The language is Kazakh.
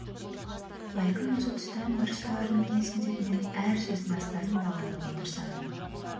бәлкім осы тұстан бір ұсталар ма екенсің деп мен әр сөздің астарын бағамдауға тырысамын